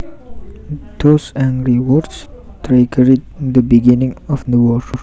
Those angry words triggered the beginning of the war